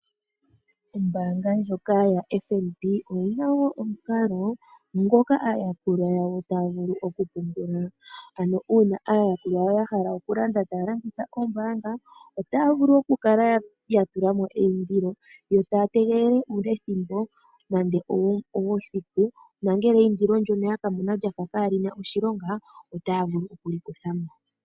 Ombaanga ndjoka ya FNB oyina wo omukalo ngoka aayakulwa yawo taya vulu okupungula. Ano uuna aayakulwa yawo ya hala okulanda taya longitha oombanga otaya vulu okukala ya tula mo eyindilo. Yo taya tegelele uulethimbo nande owesiku, na ngele eyindilo ndono ya ka mona lyafa kaa lina oshilonga, otaya vulu oku li kutha mo.